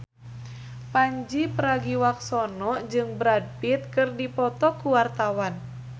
Pandji Pragiwaksono jeung Brad Pitt keur dipoto ku wartawan